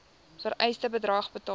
vereiste bedrag betaal